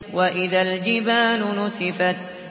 وَإِذَا الْجِبَالُ نُسِفَتْ